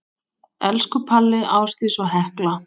Elsku Palli, Ásdís og Hekla.